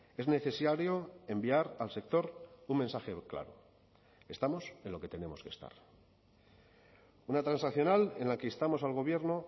es necesario enviar al sector un mensaje claro estamos en lo que tenemos que estar una transaccional en la que instamos al gobierno